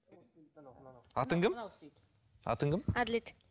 атың кім атың кім әділет